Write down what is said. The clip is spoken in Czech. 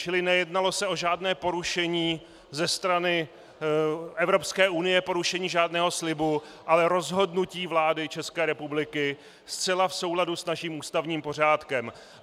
Čili nejednalo se o žádné porušení ze strany Evropské unie, porušení žádného slibu, ale rozhodnutí vlády České republiky zcela v souladu s naším ústavním pořádkem.